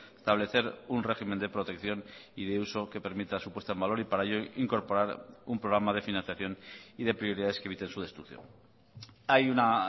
establecer un régimen de protección y de uso que permita su puesta en valor y para ello incorporar un programa de financiación y de prioridades que eviten su destrucción hay una